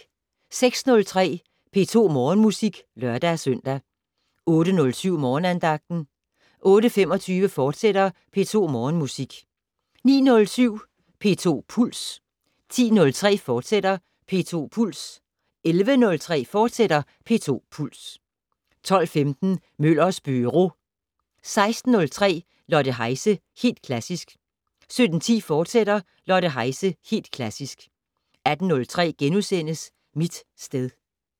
06:03: P2 Morgenmusik (lør-søn) 08:07: Morgenandagten 08:25: P2 Morgenmusik, fortsat 09:07: P2 Puls 10:03: P2 Puls, fortsat 11:03: P2 Puls, fortsat 12:15: Møllers Byro 16:03: Lotte Heise - Helt Klassisk 17:10: Lotte Heise - Helt Klassisk, fortsat 18:03: Mit sted *